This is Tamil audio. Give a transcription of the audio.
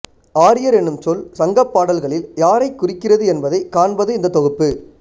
ஆரியர் என்னும் சொல் சங்கப்பாடல்களில் யாரைக் குறிக்கிறது என்பதைக் காண்பது இந்தத் தொகுப்பு